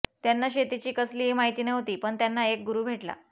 त्यांना शेतीची कसलीही माहिती नव्हती पण त्यांना एक गुरू भेटला